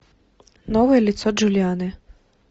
новое лицо джулианы